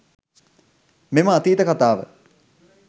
මෙම අතීත කතාව